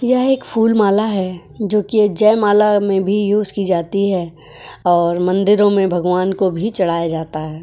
यह एक फूलमाल है जो की जयमाला में भी यूज की जाती है और मंदिरों में भगवान को भी चढ़ाया जाता है।